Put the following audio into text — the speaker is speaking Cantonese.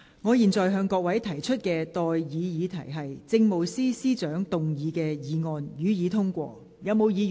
我現在向各位提出的待議議題是：政務司司長動議的議案，予以通過。